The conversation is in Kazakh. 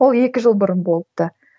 ол екі жыл бұрын болыпты